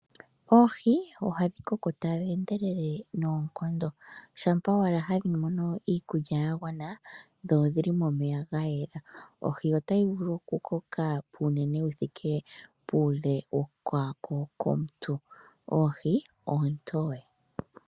Oohi oha dhi koko ta dhi endelele noonkondo, shampa wala ha dhi mono iikulya ya gwana, dho odhi li momeya ga yela. Ohi ota yi vulu oku koka puunene wu thike puule wokwaako kwomunt. Ohi oontoye.